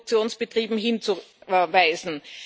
in Produktionsbetrieben, hinzuweisen.